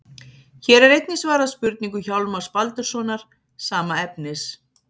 Hér er einnig svarað spurningu Hjálmars Baldurssonar, sama efnis.